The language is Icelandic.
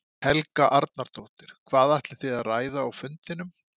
Helga Arnardóttir: Hvað ætlið þið að ræða á fundinum?